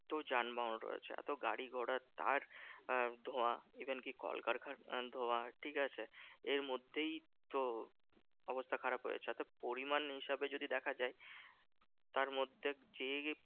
এত যানবাহন রয়েছে। এত গাড়িঘোড়ার তার ধোঁয়া even কি কলকারখানার ধোঁয়া, ঠিকাছে? এর মধ্যেই তো অবস্থা খারাপ হয়ে যাচ্ছে। এত পরিমান এইসবে যদি দেখা যায় তার মধ্যে যেই